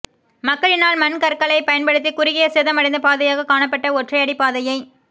மக்களினால் மண் கற்களை பயன்படுத்தி குறுகிய சேதமடைந்த பாதையாக காணப்பட்ட ஒற்றையடி பாதையை